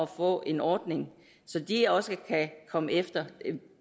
få en ordning så de også kan komme efter